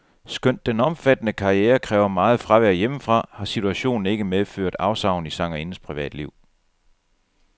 Skønt den omfattende karriere kræver meget fravær hjemmefra, har situationen ikke medført afsavn i sangerindens privatliv.